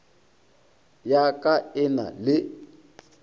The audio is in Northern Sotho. ya ka e na le